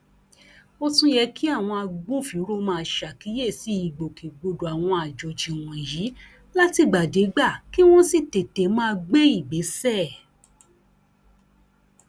ó tún yẹ kí àwọn agbófinró máa ṣàkíyèsí ìgbòkègbodò àwọn àjọjì wọnyí látìgbàdégbà kí wọn sì tètè máa gbé ìgbésẹ